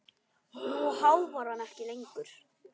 Nú háfar hann ekki lengur.